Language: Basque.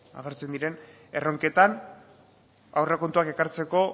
agertzen diren erronketan aurrekontuak ekartzeko